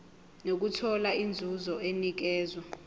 nokuthola inzuzo enikezwa